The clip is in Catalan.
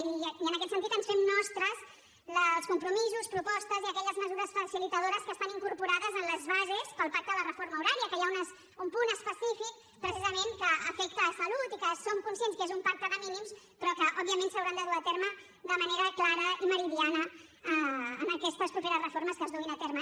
i en aquest sentit ens fem nostres els compromisos propostes i aquelles mesures facilitadores que estan incorporades en les bases pel pacte de la reforma horària que hi ha un punt específic precisament que afecta salut i que som conscients que és un pacte de mínims però que òbviament s’hauran de dur a terme de manera clara i meridiana en aquestes properes reformes que es duguin a terme